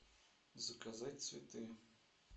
заказать цветы